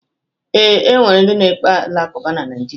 Ee, o nwere ndị na-ekpe alakụba na Naịjirịa.